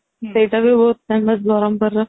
ସେଇଟା ବି ବହୁତ famous ବରମ ପୁରର